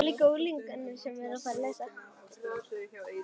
Ekki eins og skuggi.